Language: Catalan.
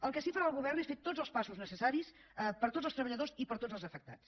el que sí que farà el govern és fer tots els passos necessaris per a tots els treballadors i per a tots els afectats